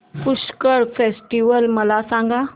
Pushkar festival मला सांग